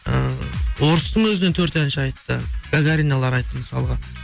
ы орыстың өзінен төрт әнші айтты гагариналар айтты мысалға